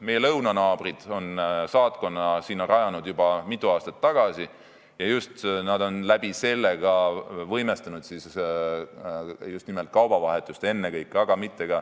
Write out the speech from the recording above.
Meie lõunanaabrid rajasid sinna saatkonna juba mitu aastat tagasi ja nad on läbi selle ka just nimelt kaubavahetust võimestanud.